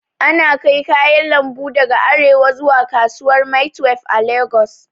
Ana kai kayan lambu daga arewa zuwa kasuwar maitwef a lagos